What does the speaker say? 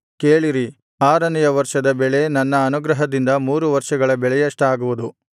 ಕೇಳಿರಿ ಆರನೆಯ ವರ್ಷದ ಬೆಳೆ ನನ್ನ ಅನುಗ್ರಹದಿಂದ ಮೂರು ವರ್ಷಗಳ ಬೆಳೆಯಷ್ಟಾಗುವುದು